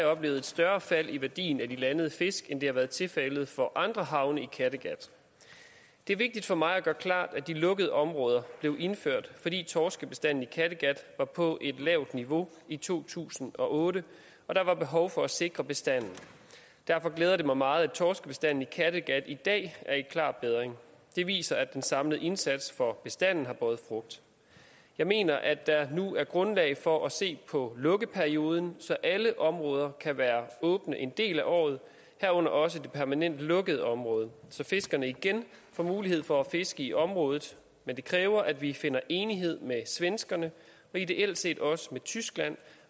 oplevet et større fald i værdien af de landede fisk end det har været tilfældet for andre havne i kattegat det er vigtigt for mig at gøre klart at de lukkede områder blev indført fordi torskebestanden i kattegat var på et lavt niveau i to tusind og otte og der var behov for at sikre bestanden derfor glæder det mig meget at torskebestanden i kattegat i dag er i klar bedring det viser at den samlede indsats for bestanden har båret frugt jeg mener at der nu er grundlag for at se på lukkeperioden så alle områder kan være åbne en del af året herunder også det permanent lukkede område så fiskerne igen får mulighed for at fiske i området men det kræver at vi finder enighed med svenskerne og ideelt set også med tyskland